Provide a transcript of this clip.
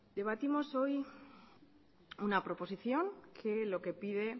debatimos hoy una proposición que lo que pide